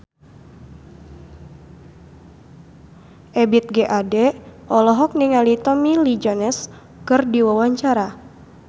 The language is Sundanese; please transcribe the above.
Ebith G. Ade olohok ningali Tommy Lee Jones keur diwawancara